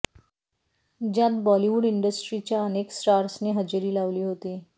ज्यात बॉलिवूड इंडस्ट्रीच्या अनेक स्टार्सनी हजेरी लावली होती